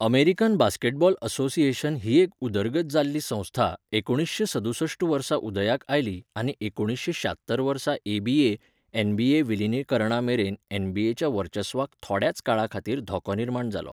American basketball association ही एक उदरगत जाल्ली संस्था एकुणीशें सदुसश्ट वर्सा उदयाक आयली आनी एकुणीशें श्यात्तर वर्सा एबीए, एनबीए विलीनीकरणा मेरेन एनबीएच्या वर्चस्वाक थोड्याच काळाखातीर धोको निर्माण जालो.